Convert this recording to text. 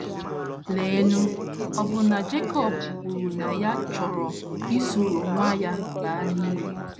Leenụ, ọbụna Jekọb kwuru na ya chọrọ isoro nwa ya baa n’ili!